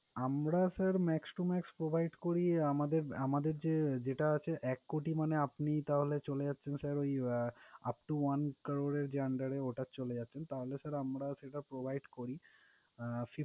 আমরা sir max to max provide করি, আমাদে~আমাদের যে যেটা আছে এক কোটি মানে আপনি তাহলে চলে যাচ্ছেন sir ওই upto one crore এর যে under ওটা চলে যাচ্ছেন। তাহলে sir সেটা provide করি, আহ